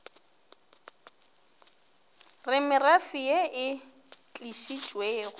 re merafe ye e tlišitšwe